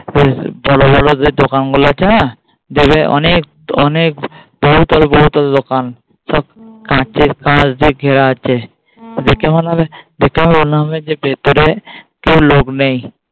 যে দোকানগুলো আছে না দেবে অনেক অনেক বহুতল বহুতল দোকান সব কাঁচের কাচ দিয়ে ঘেরা আছে দেখে মনে হবে দেখে মনে হবে যে ভেতরে কেউ লোক নেই।